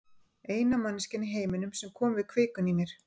Eina manneskjan í heiminum sem kom við kvikuna í mér.